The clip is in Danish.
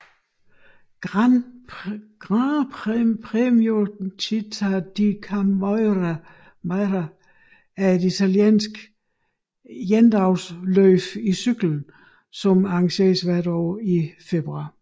Gran Premio Città di Camaiore er et italiensk endagsløb i cykling som arrangeres hvert år i februar